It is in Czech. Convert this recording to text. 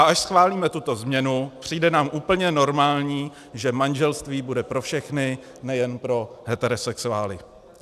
A až schválíme tuto změnu, přijde nám úplně normální, že manželství bude pro všechny, nejenom pro heterosexuály.